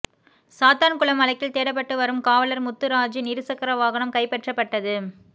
சாத்தான்குளம் வழக்கில் தேடப்பட்டு வரும் காவலர் முத்துராஜின் இருசக்கர வாகனம் கைப்பற்றப்பட்டது